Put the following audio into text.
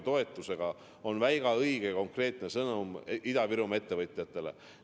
See on väga õige konkreetne sõnum Ida-Virumaa ettevõtjatele.